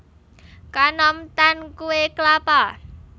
Kanom tan kuwé klapa